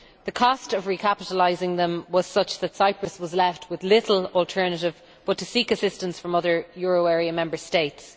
the cost of recapitalising them was such that Cyprus was left with little alternative but to seek assistance from other euro area Member States.